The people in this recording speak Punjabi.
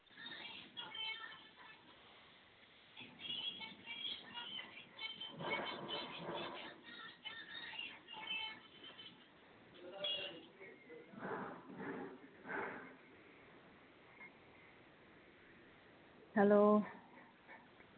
ਹੈਲੋ